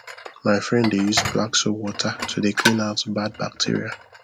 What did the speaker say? my friend dey use black soap water to dey clean out bad bacteria